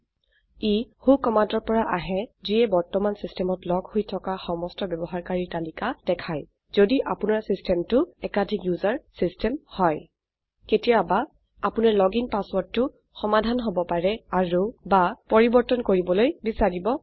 ই ৱ্হ কমান্ডৰ পৰা আহে যিয়ে বৰ্তমানে সিস্টমত লগ হৈ থকা সমস্ত ব্যবহাৰকাৰীৰ তালিকা দেখায় যদি আপোনাৰ সিস্টমটো একাধিক ওচেৰ সিস্টম হয় কেতিয়াবা আপোনাৰ লগিন পাছৱৰ্ৰদটো সমাধান হব পাৰে অাৰু বা পৰিবৰ্তন কৰিবলৈ বিছাৰিব পাৰে